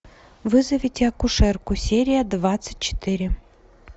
вызовите акушерку серия двадцать четыре